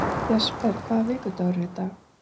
Jesper, hvaða vikudagur er í dag?